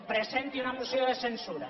presenti una moció de censura